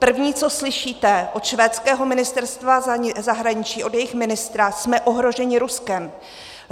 První, co slyšíte od švédského Ministerstva zahraniční, od jejich ministra: Jsme ohroženi Ruskem.